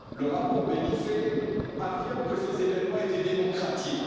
Le rapport Benifei affirme que ces événements étaient démocratiques.